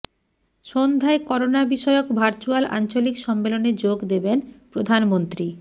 সন্ধ্যায় করোনা বিষয়ক ভার্চুয়াল আঞ্চলিক সম্মেলনে যোগ দেবেন প্রধানমন্ত্রী